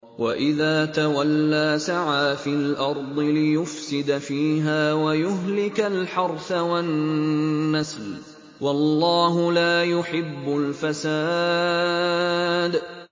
وَإِذَا تَوَلَّىٰ سَعَىٰ فِي الْأَرْضِ لِيُفْسِدَ فِيهَا وَيُهْلِكَ الْحَرْثَ وَالنَّسْلَ ۗ وَاللَّهُ لَا يُحِبُّ الْفَسَادَ